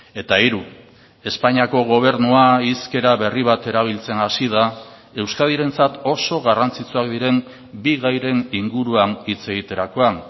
eta hiru espainiako gobernua hizkera berri bat erabiltzen hasi da euskadirentzat oso garrantzitsuak diren bi gairen inguruan hitz egiterakoan